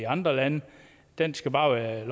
andre lande den skal bare være